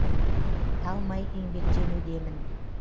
талмай еңбектенудемін